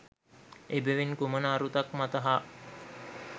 එබැවින් කුමන අරුතක් මත හා